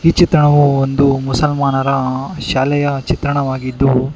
ಈ ಚಿತ್ರಣವು ಒಂದು ಮುಸಲ್ಮಾನರ ಶಾಲೆಯ ಚಿತ್ರಣವಾಗಿದ್ದು.